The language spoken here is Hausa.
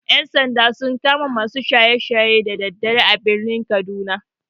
Ƴan-sanda sun kama masu shaye-shaye da daddare a birnin kaduna.